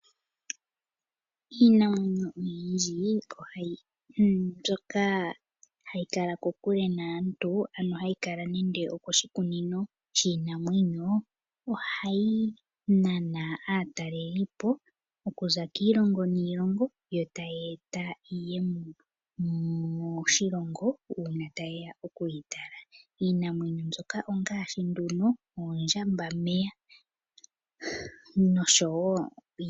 Iinamwenyo oyindji mbyoka hayi kala kokule naantu, ano hayi kala nande okoshikunino shiinamwenyo, ohayi nana aatalelipo, oku za kiilongo niilongo yo tyeeta iiyemo moshilongo uuna tayeya oku yi tala. Iinamwenyo mbika ongaashi nduno oondjamba meya nosho wo oompanda.